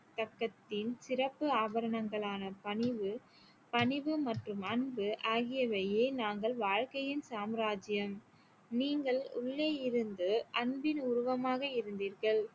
பக்கத்தின் சிறப்பு ஆபரணங்களான பணிவு பணிவு மற்றும் அன்பு ஆகியவையே நாங்கள் வாழ்க்கையின் சாம்ராஜ்ஜியம் நீங்கள் உள்ளே இருந்து அன்பின் உருவமாக இருந்தீர்கள்